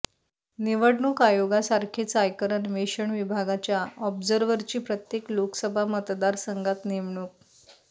निवडणूक आयोगासारखेच आयकर अन्वेषण विभागाच्या ऑब्झर्व्हरची प्रत्येक लोकसभा मतदारसंघात नेमणूक